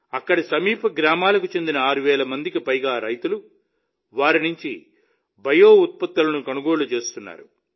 అక్కడికి సమీప గ్రామాలకు చెందిన ఆరు వేల మందికి పైగా రైతులు వారి నుంచి బయో ఉత్పత్తులను కొనుగోలు చేస్తున్నారు